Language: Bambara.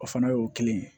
O fana y'o kelen ye